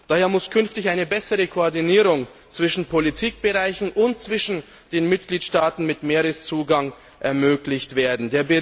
Daher muss künftig eine bessere Koordinierung zwischen Politikbereichen und zwischen den Mitgliedstaaten mit Meereszugang ermöglicht werden.